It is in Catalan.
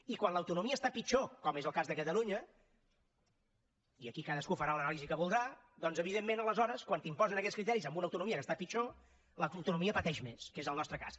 i quan l’autonomia està pitjor com és el cas de catalunya i aquí cadascú farà l’anàlisi que voldrà doncs evidentment aleshores quan t’imposen aquests criteris en una autonomia que està pitjor l’autonomia pateix més que és el nostre cas